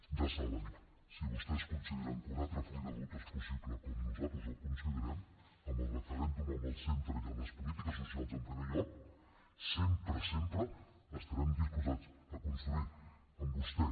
ja ho saben si vostès consideren que un altre full de ruta és possible com nosaltres ho considerem amb el referèndum en el centre i amb les polítiques socials en primer lloc sempre sempre estarem disposats a construir amb vostè